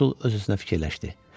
Konsul öz-özünə fikirləşdi.